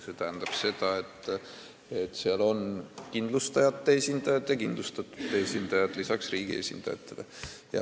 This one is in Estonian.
See tähendab seda, et seal on vaja kindlustajate ja kindlustatute esindajaid lisaks riigi esindajatele.